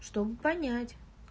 чтобы понять